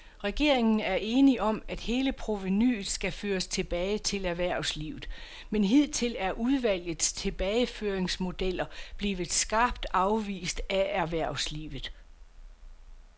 Regeringen er enig om, at hele provenuet skal føres tilbage til erhvervslivet, men hidtil er udvalgets tilbageføringsmodeller blevet skarpt afvist af erhvervslivet.